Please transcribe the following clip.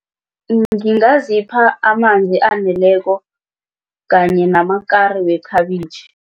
ngingazipha amanzi aneleko kanye namakari wekhabitjhi.